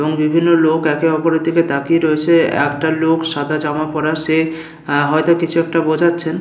এবং বিভিন্ন লোক একে অপরের দিকে তাকিয়ে রয়েছে। একটা লোক সাদা জামা পড়া সে হয়তো কিছু একটা বোঝাচ্ছেন।